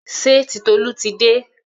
Ṣé Titolú ti dé?